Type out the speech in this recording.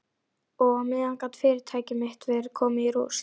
Og á meðan gat fyrirtæki mitt verið komið í rúst.